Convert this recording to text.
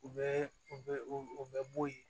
U bɛ u bɛ u bɛ bo ye